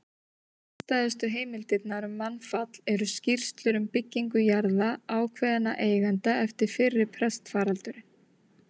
Heildstæðustu heimildirnar um mannfall eru skýrslur um byggingu jarða ákveðinna eigenda eftir fyrri pestarfaraldurinn.